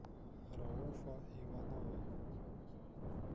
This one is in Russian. рауфа иванова